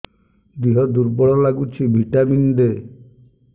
ଦିହ ଦୁର୍ବଳ ଲାଗୁଛି ଭିଟାମିନ ଦେ